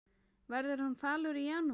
Verður hann falur í janúar?